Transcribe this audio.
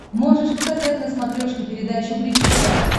можешь показать на смотрешке передачу бридж тв